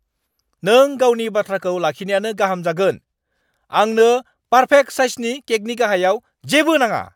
नों गावनि बाथ्राखौ लाखिनायानो गाहाम जागोन। आंनो पार्फेक्ट साइजनि केकनि गाहायाव जेबो नाङा!